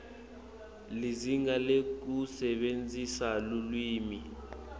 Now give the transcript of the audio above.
lizinga lekusebentisa lulwimi